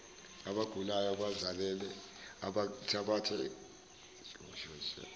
abagulayo abazele abathathabathe